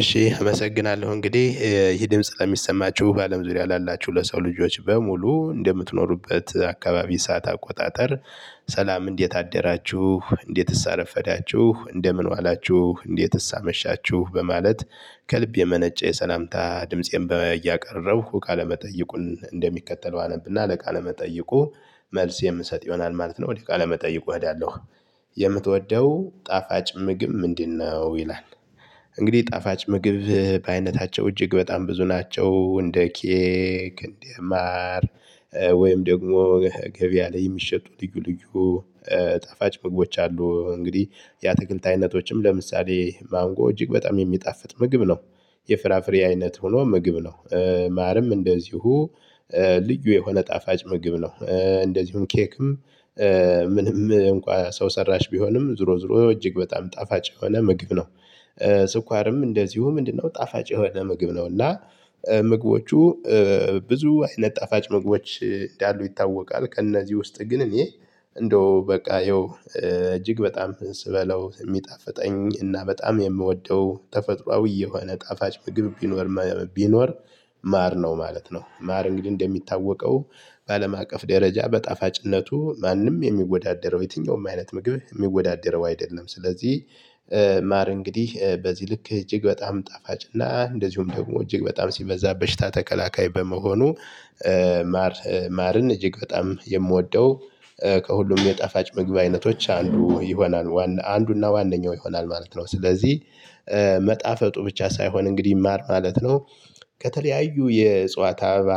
እሺ አመሰግናለሁ እንግዲህ ይሄ ድምጽ ለሚሰማችሁ በአለም ዙሪያ ላላችሁ ለሰው ልጆች በሙሉ እንደምትኖሩበት አካባቢ ሰዓት አቆጣጠር። ሰላም እንዴት አደራችሁ እንዴትስ አረፈዳችሁ እንደምን ዋላችሁ እንዴትስ አመሻችሁ በማለት ከልብ የመነጨ የሰላምታ ድምፄን እያቀረበው ቃለ መጠይቁን እንደሚከተለው አነብና ለቃለ መጠይቁ መልስ የምሰጥ ይሆናል ማለት ነው። ወደ ቃለ መጠይቁ እሄዳለሁ። የምትወደው ጣፋጭ ምግብ ምንድነው? ይላል። እንግዲህ ጣፋጭ ምግብ በአይነታቸው እጅግ በጣም ብዙ ናቸው። እንደ ኬክ እንደ ማር። ወይም ደግሞ ገቢያ ላይ የሚሸጡ ልዩ ልዩ ጣፋጭ ምግቦች አሉ። እንግዲህ ያ ትክልት አይነቶችም ለምሳሌ ማንጎ እጅግ በጣም የሚጣፍጥ ምግብ ነው። የፍራፍሬ አይነት ሆኖ ምግብ ነው ማርም እንደዚሁ። ልዩ የሆነ ጣፋጭ ምግብ ነው። እንደዚሁም ኬክም። ምንም እንኳን ሰው ሰራሽ ቢሆንም ዞሮ ዞሮ እጅግ በጣም ጣፋጭ የሆነ ምግብ ነው። ስኳርም እንደዚሁ ምንድነው? ጣፋጭ የሆነ ምግብ ነው። እና ምግቦቹ ብዙ አይነት ጣፋጭ ምግቦች እንዳሉ ይታወቃል። ከእነዚህ ውስጥ ግን እኔ እንደው በቃ ያው እጅግ በጣም ስበላው የሚጣፍጠኝ እና በጣም የምወደው ተፈጥሮአዊ የሆነ ጣፋጭ ምግብ ቢኖር ቢኖር ማር ነው ማለት ነው። ማር እንግዲህ እንደሚታወቀው በአለም አቀፍ ደረጃ በጣፋጭነቱ ማንም የሚወዳደረው የትኛውም አይነት ምግብ የሚወዳደረው አይደለም። ስለዚህ ማር እንግዲህ በዚህ ልክ እጅግ በጣም ጣፋጭና እና እንደዚሁም ደግሞ እጅግ በጣም ሲበዛ በሽታ ተከላከይ በመሆኑ። ማር ማርን እጅግ በጣም የምወደው ከሁሉም የጣፋጭ ምግብ አይነቶች አንዱ ይሆናል አንዱና ዋነኛው ይሆናል ማለት ነው። ስለዚህ መጣፈጡ ብቻ ሳይሆን እንግዲህ ማር ማለት ነው። ከተለያዩ የእጽዋት አበባ